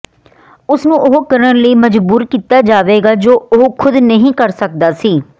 ਉਸਨੂੰ ਉਹ ਕਰਨ ਲਈ ਮਜਬੂਰ ਕੀਤਾ ਜਾਵੇਗਾ ਜੋ ਉਹ ਖੁਦ ਨਹੀਂ ਕਰ ਸਕਦਾ ਸੀ